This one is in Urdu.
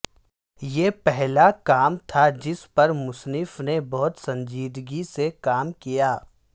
یہ پہلا کام تھا جس پر مصنف نے بہت سنجیدگی سے کام کیا